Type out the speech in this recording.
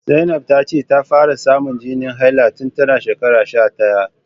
Zainab ta ce ta fara samun jinin haila tun tana shekara sha daya